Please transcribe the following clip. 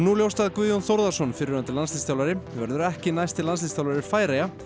ljóst að Guðjón Þórðarson fyrrverandi landsliðsþjálfari verður ekki næsti landsliðsþjálfari Færeyja